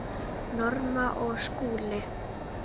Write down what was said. Norma og Skúli.